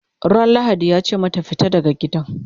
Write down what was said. Ran lahadi yace mata"fita daga gidan!"